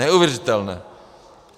Neuvěřitelné!